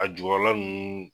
A jukɔrɔla nunnu